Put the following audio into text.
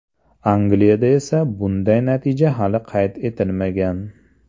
Angliyada esa bunday natija hali qayd etilmagan.